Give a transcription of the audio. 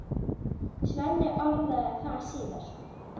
Svenni orðaði það síðar.